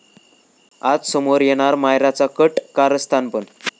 आज समोर येणार मायराचं कट कारस्थान पण...